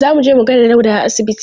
Za mu je mu gaida Dauda a asibiti.